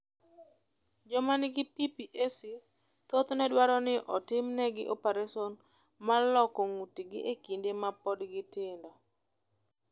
Joma nigi PPAC thothne dwaro ni otimnegi opereson mar loko ng’utgi e kinde ma pod gin matindo.